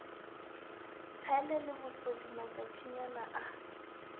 tshele le bosodi matšatšinyana a